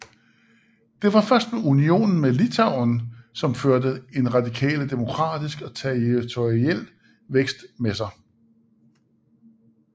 Det var først unionen med Litauen som førte en radikal demografisk og territoriel vækst med sig